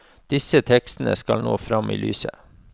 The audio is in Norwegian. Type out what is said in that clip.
Disse tekstene skal nå frem i lyset.